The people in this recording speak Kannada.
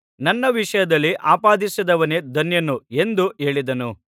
ನನ್ನ ವಿಷಯದಲ್ಲಿ ಆಪಾದಿಸದವನೇ ಧನ್ಯನು ಎಂದು ಹೇಳಿದನು